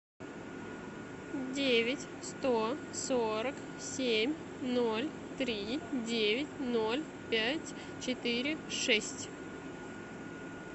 девять сто сорок семь ноль три девять ноль пять четыре шесть